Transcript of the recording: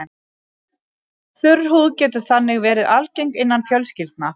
Þurr húð getur þannig verið algeng innan fjölskyldna.